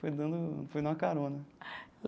Foi dando foi numa carona.